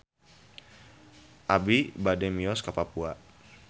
Abi bade mios ka Papua